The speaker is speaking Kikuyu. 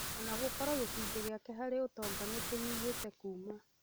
O na gũkorwo gĩcunjĩ gĩake harĩ ũtonga nĩ kĩnyihĩte kũma